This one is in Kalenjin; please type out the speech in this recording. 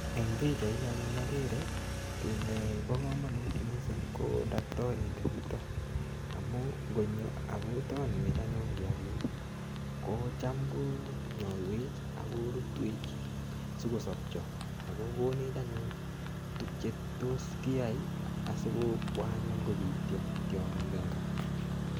Eng' pichaini anyun agere kii nebo komonut mising' ko daktorinde nito amu ngonyo akotonwech anyun kiyakik kocham konyoiwech akorutwech sikosopcho ako konech anyun tukche toss kiyoei asikobwa anyun kobityo tiong'ik eng' kaa